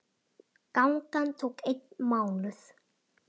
Gangan tók einn mánuð.